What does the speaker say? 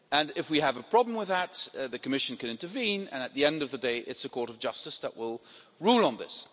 If we have a problem with that, the Commission can intervene and at the end of the day, it's the Court of Justice that will rule on this.